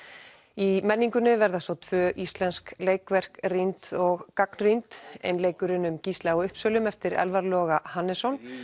í menningunni verða tvö íslenskt leikverk rýnd og gagnrýnd einleikurinn um Gísla á Uppsölum eftir Elfar Loga Hannesson